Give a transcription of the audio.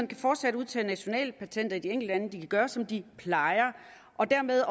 kan fortsat udtage nationale patenter i de enkelte lande de kan gøre som de plejer og dermed